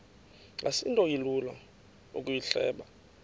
asinto ilula ukuyihleba